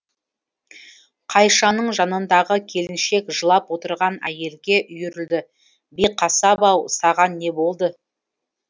қайшаның жанындағы келіншек жылап отырған әйелге үйірілді биқасап ау саған не болды